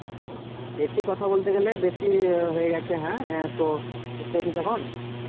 হ্যাঁ বেশি কথা বলতে গেলে বেশি হয়ে গেছে হ্যাঁ তো তুই খেয়েছিস এখন?